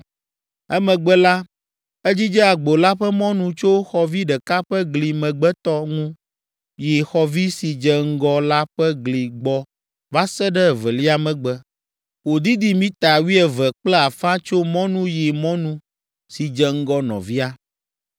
Emegbe la, edzidze agbo la ƒe mɔnu tso xɔvi ɖeka ƒe gli megbetɔ ŋu yi xɔvi si dze ŋgɔe la ƒe gli gbɔ va se ɖe evelia megbe, wòdidi mita wuieve kple afã tso mɔnu yi mɔnu si dze ŋgɔ nɔvia.